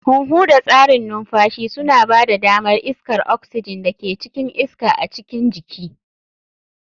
Huhu da tsarin numfashi suna ba da damar iskar oxygen da ke cikin iska a cikin jiki.